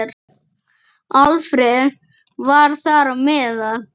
Alfreð var þar á meðal.